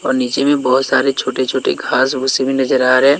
और नीचे में बहोत सारे छोटे-छोटे घास-भूसे भी नजर आ रे हें।